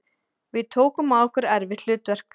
Við tókum að okkur erfitt hlutverk